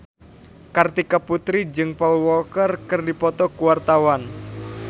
Kartika Putri jeung Paul Walker keur dipoto ku wartawan